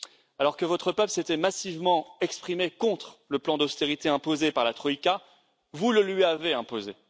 Alors que votre peuple s'était massivement exprimé contre le plan d'austérité imposé par la Troïka, vous le lui avez imposé.